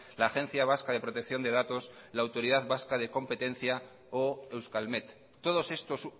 la agencia vasca de protección de datos la autoridad vasca de competencia o euskalmet todos estos